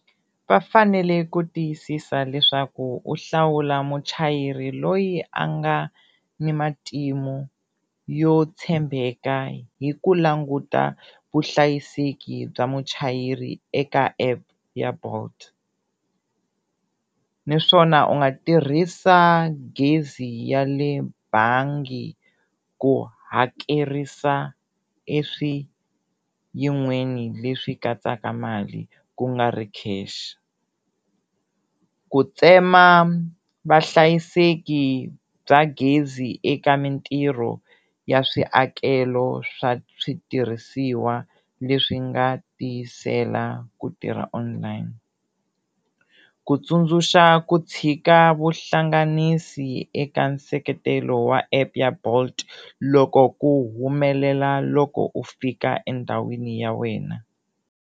Va fanele ku tiyisisa leswaku u hlawula muchayeri loyi a nga ni matimu yo tshembeka hi ku languta vuhlayiseki bya muchayeri eka app ya bolt naswona u nga tirhisa gezi ya le bangi ku hakerisa eswi yin'weni leswi katsaka mali ku nga ri cash ku, ku tsema vahlayiseki bya gezi eka mintirho ya swiakelo swa switirhisiwa leswi nga tiyisela ku tirha online, ku tsundzuxa ku tshika vuhlanganisi eka nseketelo wa app ya bolt loko ku humelela loko u fika endhawini ya wena.